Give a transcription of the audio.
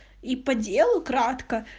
и по делу кратко